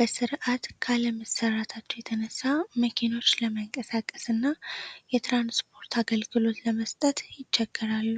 በስርዓት ካለመሰራታቸው የተነሳ መኪኖች ለመንቀሳቀስ እና የትራንስፖርት አገልግሎት ለመስጠት ይቸገራሉ።